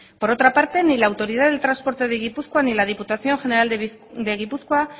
por otra parte ni la autoridad del transporte de gipuzkoa ni la diputación general de gipuzkoa